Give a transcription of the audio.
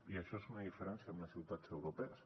i això és una diferència amb les ciutats europees